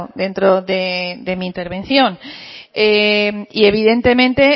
dentro de mi intervención y evidentemente